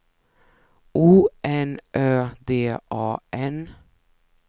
O N Ö D A N